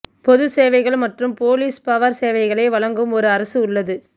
பொது சேவைகள் மற்றும் பொலிஸ் பவர் சேவைகளை வழங்கும் ஒரு அரசு உள்ளது